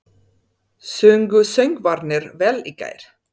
Sungu söngvararnir vel í gær?